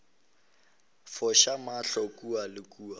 foša mahlo kua le kua